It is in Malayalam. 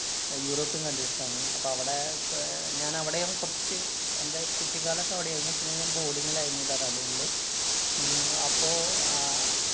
അഹ് യൂറോപ്യന്‍ countries ലാണ്. അപ്പ അവിടെ ക~ അഹ് ഞാനവിടെയാണ് കൊറച്ച് എന്‍റെ കുട്ടിക്കാലൊക്കെ അവിടെയായിരുന്നു. പിന്നെ ഞാന്‍ boarding ലായിരുന്നു ഡെറാഡൂണിലെ ഹും അപ്പൊ ആഹ്